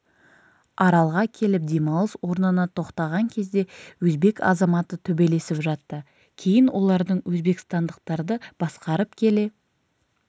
аралға келіп демалыс орнына тоқтаған кезде өзбек азаматы төбелесіп жатты кейін олардың өзбекстандықтарды басқарып келе